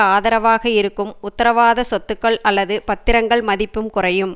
ஆதரவாக இருக்கும் உத்தரவாத சொத்துக்கள் அல்லது பத்திரங்கள் மதிப்பும் குறையும்